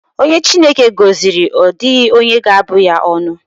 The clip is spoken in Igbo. Onye Chineke gọziri, ọ dịghị onye ga-abụ ya ọnụ.